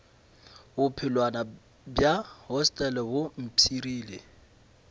bophelwana bja hostele bo mpshirile